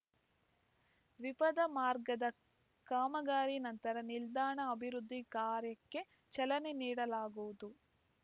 ದ್ವಿಪಥ ಮಾರ್ಗದ ಕಾಮಗಾರಿ ನಂತರ ನಿಲ್ದಾಣ ಅಭಿವೃದ್ಧಿ ಕಾರ್ಯಕ್ಕೆ ಚಾಲನೆ ನೀಡಲಾಗುವುದು